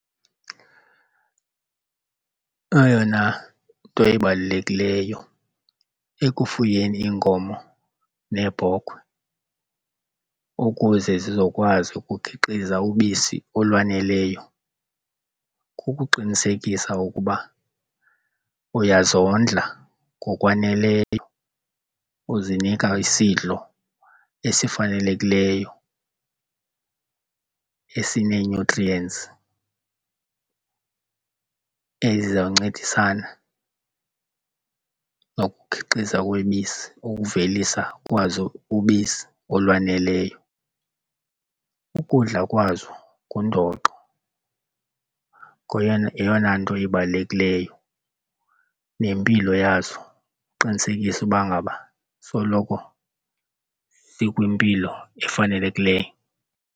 Eyona nto ibalulekileyo ekufuyeni iinkomo neebhokhwe ukuze zizokwazi ukukhiqiza ubisi olwaneleyo kukuqinisekisa ukuba uyazondla ngokwaneleyo uzinika isidlo esifanelekileyo esinee-nutrients ezizawuncedisana nokukhiqiza kwebisi ukuvelisa kwazo ubisi olwaneleyo. Ukudla kwazo ngundoqo yeyona nto ibalulekileyo nempilo yazo, uqinisekise uba ngaba soloko zikwimpilo efanelekileyo.